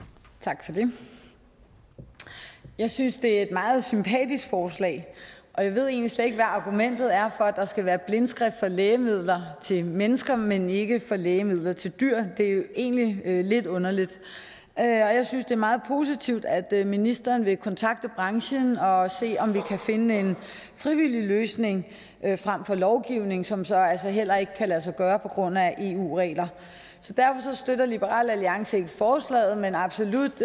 tak for det jeg synes at det er meget sympatisk forslag og jeg ved egentlig slet ikke hvad argumentet er for at der skal være blindskrift på lægemidler til mennesker men ikke på lægemidler til dyr det er jo egentlig lidt underligt jeg synes at det meget positivt at ministeren vil kontakte branchen og se om vi kan finde en frivillig løsning frem for lovgivning som så altså heller ikke kan lade sig gøre på grund af eu regler så derfor støtter liberal alliance ikke forslaget men absolut